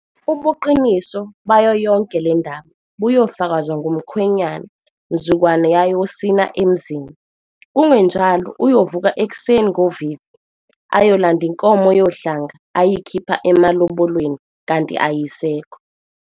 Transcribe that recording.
Ubuqiniso bayo yonke le ndaba buyofakazwa ngumkhwenyana mzukwana yayosina emzini, kungenjalo uyovuka ekuseni ngovivi, ayolanda inkomo yohlanga ayikhipha emalobolweni kanti ayisekho.